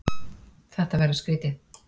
Þetta verður skrýtið.